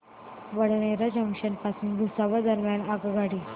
Badnera junction पासून भुसावळ दरम्यान आगगाडी